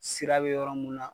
Sira be yɔrɔ mun na